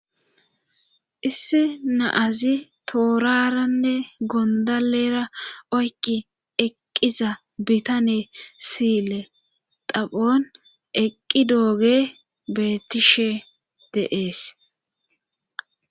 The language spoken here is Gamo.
Issi naazi tooraranne gondalera oyki eqqiza bitane siyle taphon eqqi dooge beettishe deees